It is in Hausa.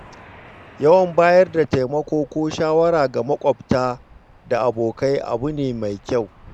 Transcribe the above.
Yawan bayar da taimako ko shawara ga moƙwabta da abokai abu ne mai kyau.